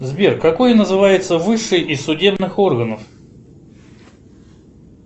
сбер какой называется высший из судебных органов